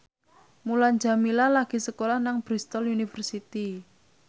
Mulan Jameela lagi sekolah nang Bristol university